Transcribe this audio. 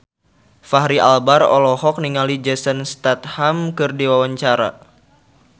Fachri Albar olohok ningali Jason Statham keur diwawancara